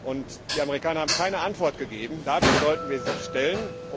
Und die Amerikaner haben keine Antwort gegeben damit sollten wir sie stellen.